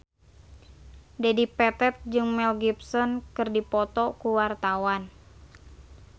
Dedi Petet jeung Mel Gibson keur dipoto ku wartawan